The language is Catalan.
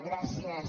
gràcies